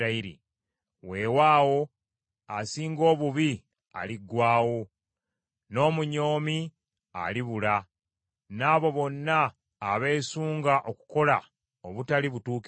Weewaawo asinga obubi aliggwaawo, n’omunyoomi alibula, n’abo bonna abeesunga okukola obutali butuukirivu,